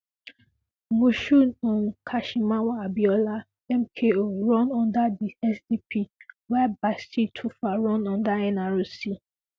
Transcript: Moshood um Kashimawo Abiola MKO run under di SDP while Bashir Tofa run under NRC